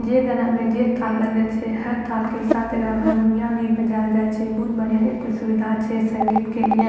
जे गना में जे ताल लगे छै हर ताल के साथ एकर में हरमुनिया भी बजाल जाय छै बहुत बढ़िया एता सुविधा छै संगीत के लिए।